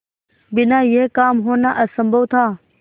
बिना यह काम होना असम्भव था